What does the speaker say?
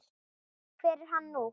Hver er hann nú?